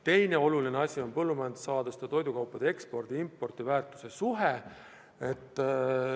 Teine oluline näitaja on põllumajandussaaduste ja toidukaupade ekspordi-impordi väärtuse suhe.